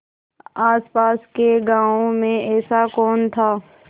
आसपास के गाँवों में ऐसा कौन था